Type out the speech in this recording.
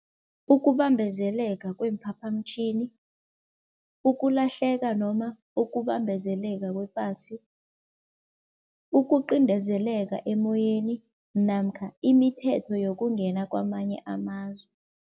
Ukubambezeleka kweemphaphamtjhini, ukulahleka noma ukubambezeleka kwepasi, ukuqindezeleka emoyeni namkha imithetho yokungena kwamanye amazwe.